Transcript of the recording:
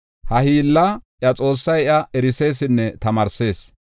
Ha hiilla iya Xoossay iya erisesinne tamaarsees.